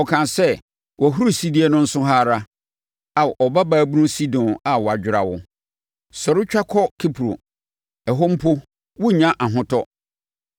Ɔkaa sɛ, “Wʼahurisidie no nso ha ara, Ao Ɔbabaa bunu Sidon a wɔadwera wo! “Sɔre, tware kɔ Kipro; ɛhɔ mpo worennya ahotɔ.”